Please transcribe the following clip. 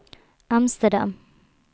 Amsterdam